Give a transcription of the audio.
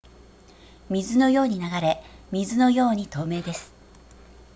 水のように流れ水のように透明です